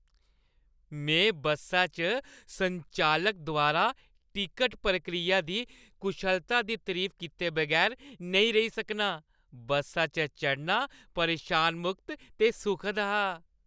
में बस्सा च संचालक द्वारा टिकट प्रक्रिया दी कुशलता दी तरीफ कीते बगैर नेईं रेही सकनां। बस्सा च चढ़ना परेशानी-मुक्त ते सुखद हा।